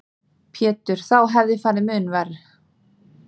Pétur: Þá hefði farið mun verr?